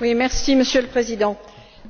Monsieur le Président,